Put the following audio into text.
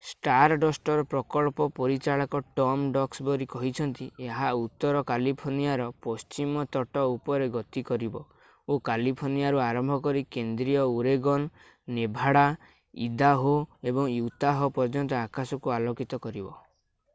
ଷ୍ଟାରଡଷ୍ଟର ପ୍ରକଳ୍ପ ପରିଚାଳକ Tom Duxbury କହିଛନ୍ତି ଏହା ଉତ୍ତର କାଲିଫର୍ଣ୍ଣିଆର ପଶ୍ଚିମ ତଟ ଉପରେ ଗତି କରିବ ଓ କାଲିଫର୍ଣ୍ଣିଆରୁ ଆରମ୍ଭ କରି କେନ୍ଦ୍ରୀୟ ଓରେଗନ୍ ନେଭାଡା ଇଦାହୋ ଏବଂ ୟୁତାହ ପର୍ଯ୍ୟନ୍ତ ଆକାଶକୁ ଆଲୋକିତ କରିବ